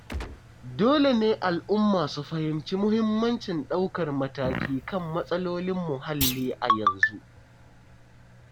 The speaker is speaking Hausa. Dole ne al'umma su fahimci muhimmancin ɗaukar mataki kan matsalolin muhalli a yanzu.